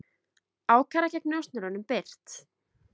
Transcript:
Ákæra gegn njósnurum birt